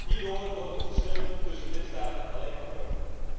Hierdoor worden de verschillen tussen lidstaten alleen maar groter.